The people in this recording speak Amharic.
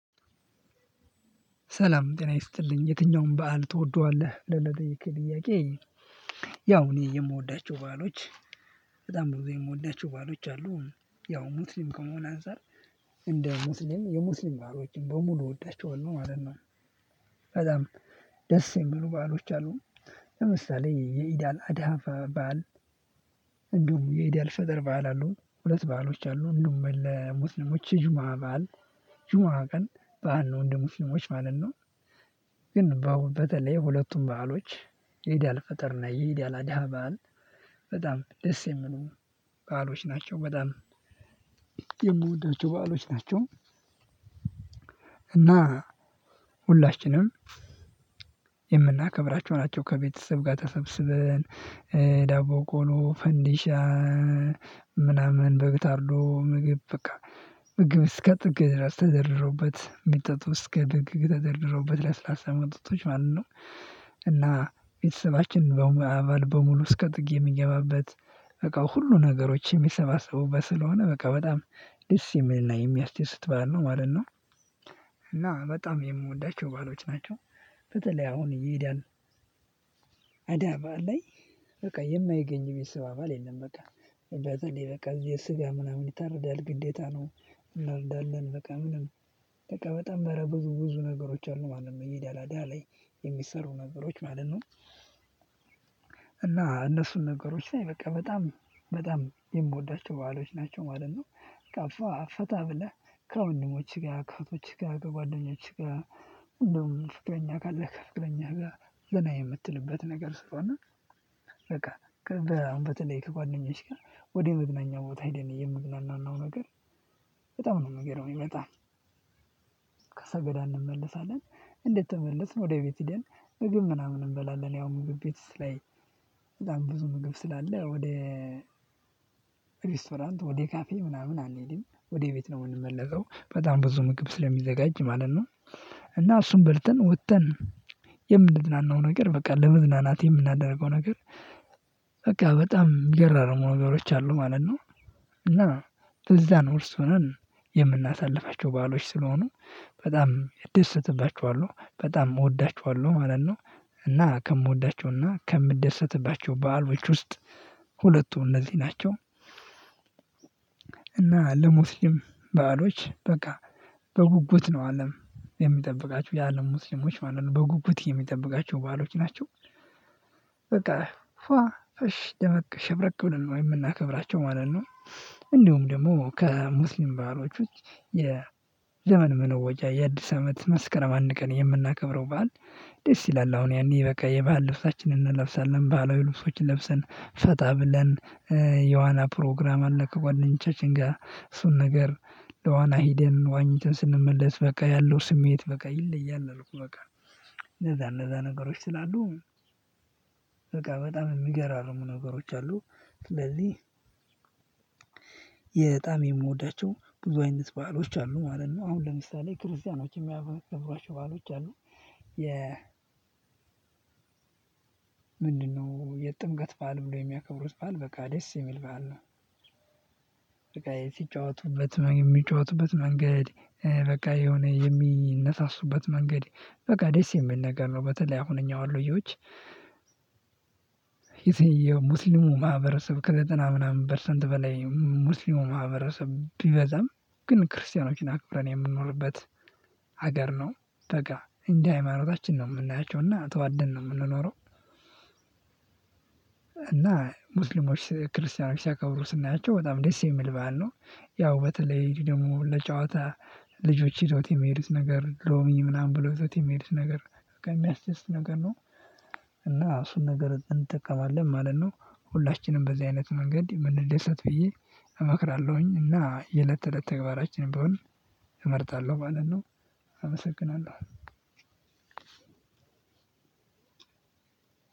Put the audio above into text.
ሰላም ጤና ይስጥልኝ የትኛውን በዓል ትወደዋለህ ብለህ ለጠየቅኀኝ ጥያቄ። ያው እኔ የምወዳቸው በዓሎች በጣም ብዙ የምወዳቸው በዓሎች አሉ። ያው ሙስሊም ከመሆን አንፃር እንደ ሙስሊም የሙስሊም በዓሎችን በሙሉ እወዳቸዋለሁ ማለት ነው። በጣም ደስ የሚሉ በዓሎች አሉ። ለምሳሌ የኢዳል አድሃ በዓል። እንዲሁም የኢዳል ፈጠር በዓል አሉ ሁለት በዓሎች አሉ። እንደውም ለሙስሊሞች የጁሙአ በዓል ጁሙአ ቀን በዓል ነው እንደ ሙስሊሞች ማለት ነው። ግን በተለይ ሁለቱን በዓሎች የኢድአል ፈጥር እና የኢድአል አዳሃ በዓል በጣም ደስ የሚሉ በዓሎች ናቸው። በጣም የምወዳቸው በዓሎች ናቸው። እና ሁላችንም የምናከብራቸው ናቸው። ከቤተሰብ ጋር ተሰብስበን ዳቦ ቆሎ ፈንዲሻ ምናምን በግብ ታርዶ ምግብ በቃ ምግብ እስከ ጥግ ድረስ ተዘርረውበት የሚጠጡ እስከ ጥግ ተደርድረውበት ለስላሳ መጠጦቶች ማለት ነው። እና ቤተሰባችን በሙሉ አባል በሙሉ እስከ ጥግ የሚገባበት በቃ ሁሉ ነገሮች የሚሰባሰቡበት ስለሆነ በቃ በጣም ደስ የሚልና የሚያስተስት በዓል ነው ማለት ነው። እና በጣም የምወዳቸው በዓሎች ናቸው። በተለይ አሁን የኢዳል በዓል ላይ በቃ የማይገኝ የቤተሰብ አባል የለም። በቃ በተላይ በቃ እዚህ የስጋ ምናምን ይታረዳል ግዴታ ነው። እናረዳለን በቃ ምንድነው? በቃ በጣም አረ ብዙ ብዙ ነገሮች አሉ ማለት ነው የኢዳል አድሃ ላይ የሚሰሩ ነገሮች ማለት ነው። እና እነሱን ነገሮች ላይ በቃ በጣም በጣም የምወዳቸው በዓሎች ናቸው ማለት ነው። በቃ ፏ ፈታ ብለህ ከወንድሞችህ ጋር ከእህቶችህ ጋር ከጓደኞችህ ጋር እንደውም ፍቅረኛ ካለህ ከፍቅረኛ ጋር ዘና የምትልበት ነገር ስለሆነ። በቃ በአሁን በተለይ ከጓደኛች ጋር ወደ መዝናኛ ቦታ ሄደን የምንዝናናው ነገር በጣም ነው የሚገርመኝ። በጣም ከሰገዳ እንመለሳለን እንደተመለስን ወደ ቤት ሄደን ምግብ ምናምን እንበላለን ያው ምግብ ቤት ላይ። በጣም ብዙ ምግብ ስላለ ወደ ሬስቶራንት ወደ ካፌ ምናምን አንሄድም ወደ ቤት ነው የምንመለሰው በጣም ብዙ ምግብ ስለሚዘጋጅ ማለት ነው። እና እሱን በልተን ወጥተን የምንዝናናው ነገር በቃ ለመዝናናት የምናደርገው ነገር በቃ በጣም የሚገራርሙ ነገሮች አሉ ማለት ነው። እና ትዝዛን ውስጥ ሆነን የምናሳልፋቸው በዓሎች ስለሆኑ በጣም ደሰትባቸዋለሁ በጣም እወዳቸዋለሁ ማለት ነው። እና ከምወዳቸውና ከምደሰትባቸው በዓሎች ውስጥ ሁለቱም እነዚህ ናቸው። እና ለሙስሊም በዓሎች በቃ በጉጉት ነው አለም የሚጠብቃቸው የአለም ሙስሊሞች ማለት ነው በጉጉት የሚጠብቃቸው በዓሎች ናቸው። በቃ ፋ ፈሽ ደመቅ ሸብረቅብለን ነው የምናከብራቸው ማለት ነው። እንደውም ደግሞ ከሙስሊም በዓሎች ውስጥ የዘመን መለወጫ የአዲስ አመት መስከረም አንድ ቀን የምናከብረው በዓል። ደስ ይላል አሁን ያኔ በቃ የበአል ልብሳችንን እንለብሳለን ባህላዊ ልብሶችን ለብሰን ፈታ ብለን። የዋና ፕሮግራም አለ ከጓደኞቻችን ጋር እሱን ነገር ለዋና ሂደን ዋኝተን ስንመለስ በቃ ያለው ስሜት በቃ ይለያል አልኩ በቃ። እንደዛ እንደዛ ነገሮች ስላሉ በቃ በጣም የሚገራርሙ ነገሮች አሉ። ስለዚህ የጣም የምወዳቸው ብዙ አይነት ባህሎች አሉ ማለት ነው። አሁን ለምሳሌ ክርስቲያኖች የሚያከብሩዋቸው ባሎች አሉ። የ ምንድነው? የጥምቀት በዓል ላይ የሚያከብሩት በዓል በቃ ደስ የሚል በዓል ነው። በቃ የት ይጫወቱበት የሚጫወቱበት መንገድ። በቃ የሆነ የሚነሳሱበት መንገድ በቃ ደስ የሚል ነገር ነው። በተለይ አሁን እኛ ወሎየዎች የሙስሊሙ ማህበረሰብ ከዘጠና ምናምን በፐርሰንት በላይ ሙስሊሙ ማህበረሰብ ቢበዛም ግን ክርስቲያኖችን አክብረን የምንኖርበት ሀገር ነው። በቃ እንደ ሃይማኖታችን ነው የምናያቸው እና ተዋደን ነው የምንኖረው። እና ሙስሊሞች ክርስቲያኖች ሲያከብሩ ስናያቸው በጣም ደስ የሚል ባል ነው። ያው በተለይ እኔ ደግሞ ለጨዋታ ልጆቼ ይዘውት የሚሄዱት ነገር ሮሚ ምናምን ብለው ይዘውት የሚሄዱት ነገር በቃ የሚያስደስት ነገር ነው። እና እሱን ነገር እንጠቀማለን ማለት ነው። ሁላችንም በዚህ አይነት መንገድ የምንደሰት ብዬ እመክራለሁኝ እና የለት ተለት ተግባራችን ብሆን እመርጣለሁ ማለት ነው። አመሰግናለሁ።